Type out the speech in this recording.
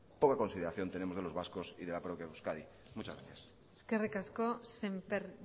poca consideración tenemos de los vascos y de la propia euskadi muchas gracias eskerrik asko sémper